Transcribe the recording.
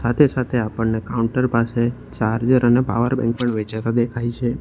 સાતે સાથે આપણને કાઉન્ટર પાસે ચાર્જર અને પાવરબેન્ક પણ વેચાતા દેખાઈ છે.